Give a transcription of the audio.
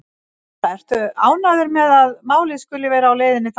Lára: Ertu ánægður með að málið skuli vera á leið þangað?